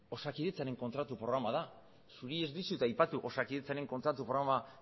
osakidetzaren kontratu programa da zuri ez dizut aipatu osakidetzaren kontratu programa